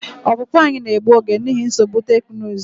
Ọpụpụ anyị na-egbu oge n'ihi nsogbu teknụzụ.